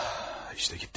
İştə getdi.